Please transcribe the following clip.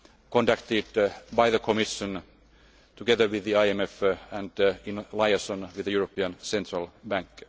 conducted by the Commission together with the IMF, and in liaison with the European Central